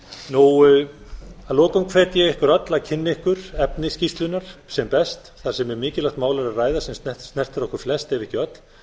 ríkjunum að lokum hvet ég ykkur öll að kynna ykkur efni skýrslunnar sem best þar sem um mjög mikilvægt mál er að ræða sem snertir okkur flest ef ekki öll